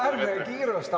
Ärme kiirustame.